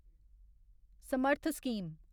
Samarth scheme